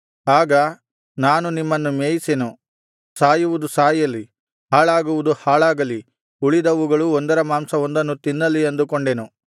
ಆಗ ನಾನು ನಿಮ್ಮನ್ನು ಮೇಯಿಸೆನು ಸಾಯುವುದು ಸಾಯಲಿ ಹಾಳಾಗುವುದು ಹಾಳಾಗಲಿ ಉಳಿದವುಗಳು ಒಂದರ ಮಾಂಸವೊಂದನ್ನು ತಿನ್ನಲಿ ಅಂದುಕೊಂಡೆನು